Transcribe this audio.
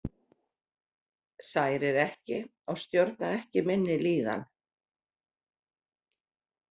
Særir ekki og stjórnar ekki minni líðan.